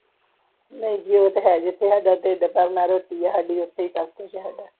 ਨਹੀਂ ਜੀ ਉਹ ਤਾ ਹੈ ਜਿੱਥੇ ਸਾਡਾ ਢਿੱਡ ਭਰਨਾ ਰੋਟੀ ਹੈ ਸਾਡੀ ਉਥੇ ਹੀ ਸਬ ਕੁਛ ਸਾਡਾ